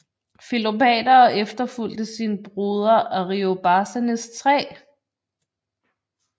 Filopater og efterfulgte sin broder Ariobarzanes 3